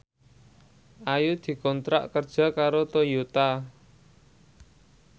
Ayu dikontrak kerja karo Toyota